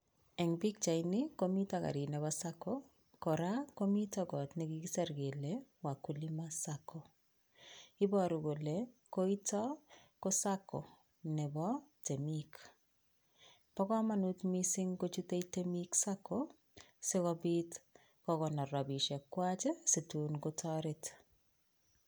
En pichaini komiten garit Nebo Sacco kora komiten got nekikisir kele wakulima Sacco, iboru kole koiton KO Sacco Nebo temik. Bo komonut missing ingochut temik sacco sikobiit kokonor rabinikchwak situn kotoret